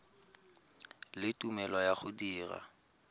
le tumelelo ya go dira